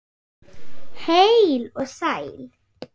Heil og sæl!